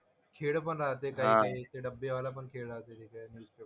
खेळ पण राहते काही काही. ते डब्बेवाला पण खेळ राहते ते काही.